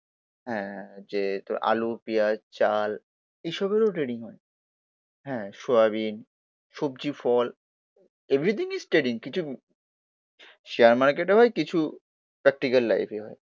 হ্যা যে তোর আলু, পেঁয়াজ, চাল এসবেরও ট্রেডিং হয়। হ্যা সোয়াবিন, সবজি, ফল এভরিথিং ইস ট্রেডিং, কিছু শেয়ার মার্কেটে ভাই কিছু প্রাক্টিক্যাল লাইফেই হয়।